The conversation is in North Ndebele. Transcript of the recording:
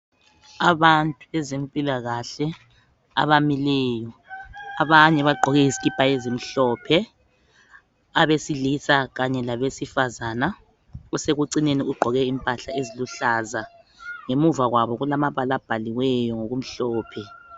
Abantu bezempikahle abamileyo abanye bagqoke izikipa ezemhlophe abesilisa kanye labesifazana osekucineni ugqoke impahla eziluhlaza ngemuva kwabo kulamabala abhaliweyo ngokumhlophe.